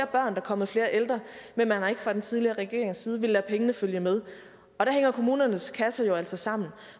der er kommet flere ældre men man har ikke fra den tidligere regerings side villet lade pengene følge med og der hænger kommunernes kasser jo altså sammen